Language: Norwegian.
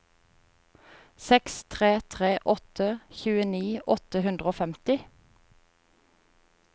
seks tre tre åtte tjueni åtte hundre og femti